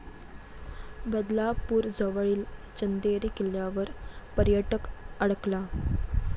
बदलापूरजवळील चंदेरी किल्ल्यावर पर्यटक अडकला